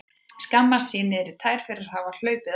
Skammast sín niður í tær fyrir að hafa hlaupið á sig.